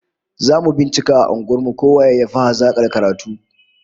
Zamu bincika a unguwar mu ko waye yafi hazakar karatu